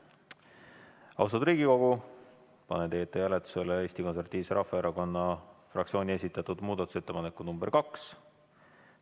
Austatud Riigikogu, panen teie ette hääletusele Eesti Konservatiivse Rahvaerakonna fraktsiooni esitatud muudatusettepaneku nr 2.